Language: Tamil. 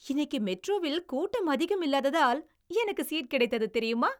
இன்னைக்கி மெட்ரோவில் கூட்டம் அதிகம் இல்லாததால் எனக்கு சீட் கிடைத்தது தெரியுமா?